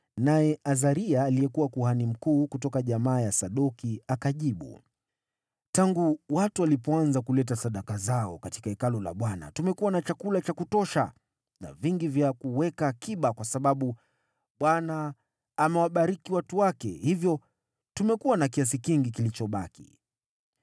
naye Azaria aliyekuwa kuhani mkuu, kutoka jamaa ya Sadoki, akajibu, “Tangu watu walipoanza kuleta sadaka zao katika Hekalu la Bwana tumekuwa na chakula cha kutosha na vingi vya kuweka akiba kwa sababu Bwana amewabariki watu wake, hivyo tumekuwa na kiasi kingi kilichobaki.”